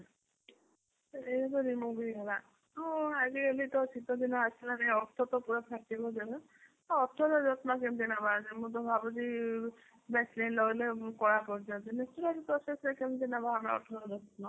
ତ remove ହେଇଗଲା ହଁ ଆଜି କାଲି ତ ଶିତ ଦିନ ଆସିଲାଣି ଓଠ ତ ପୁରା ଫାଟିବ ନା ତ ଓଠ ର ଯତ୍ନ କେମିତି ନବା ମୁଁ ତ ଭାବୁଛି vaseline ଲଗେଇଲେ କଳା ପଡିଯାଉଛି natural process ରେ କେମିତି ନବା ଆମେ ଓଠ ର ଯତ୍ନ?